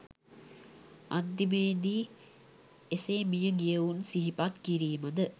අන්තිමේ දී එසේ මිය ගියවුන් සිහිපත් කිරීම ද